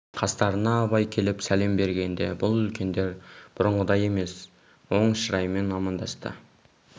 қастарына абай келіп сәлем бергенде бұл үлкендер бұрынғыдай емес оң шыраймен амандасты